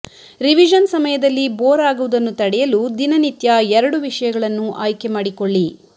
revision ಸಮಯದಲ್ಲಿ bore ಆಗುವುದನ್ನು ತಡೆಯಲು ದಿನನಿತ್ಯ ಎರಡು ವಿಷಯಗಳನ್ನು ಆಯ್ಕೆ ಮಾಡಿಕೊಳ್ಳಿ